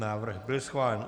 Návrh byl schválen.